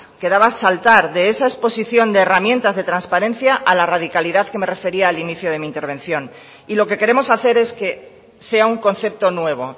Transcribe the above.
quedaba saldar de esa exposición de herramientas de transparencia a la radicalidad que me refería al inicio de mi intervención y lo que queremos hacer es que sea un concepto nuevo